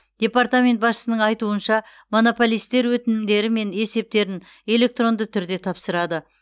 департамент басшысының айтуынша монополистер өтінімдері мен есептерін электронды түрде тапсырады